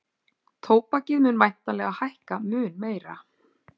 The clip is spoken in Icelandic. Tóbakið mun væntanlega hækka mun meira